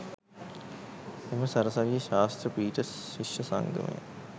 එම සරසවියේ ශාස්ත්‍ර පීඨ ශිෂ්‍ය සංගමයය